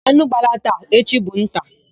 Anụ gbalaa taa, echi bụ nta.